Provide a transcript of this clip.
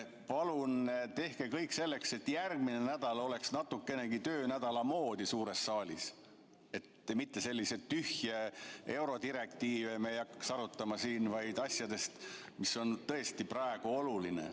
Palun tehke kõik selleks, et järgmine nädal oleks natukenegi töönädala moodi suures saalis, et me ei hakkaks selliseid tühje eurodirektiive siin arutama, vaid räägiksime asjadest, mis on tõesti praegu olulised.